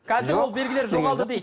қазір ол белгілер жоғалды дейік